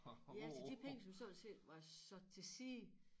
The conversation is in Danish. Ja til de penge som sådan set var sat til side